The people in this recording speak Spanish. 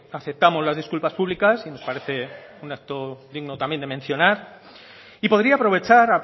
aceptamos las disculpas públicas y nos parece un acto digno también de mencionar y podría aprovechar